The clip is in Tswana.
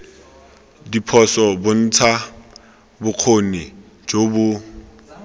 diphoso bontsha bokgoni jo bo